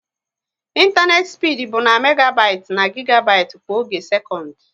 ịntanetị spid bụ na megabit na gigabit kwa oge sekọnd